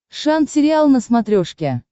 шант сериал на смотрешке